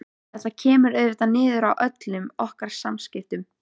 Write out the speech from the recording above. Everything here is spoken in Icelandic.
Þetta kemur auðvitað niður á öllum okkar samskiptum.